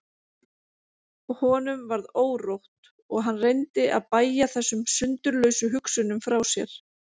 Honum varð órótt og hann reyndi að bægja þessum sundurlausu hugsunum frá sér.